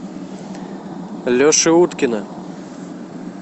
леши уткина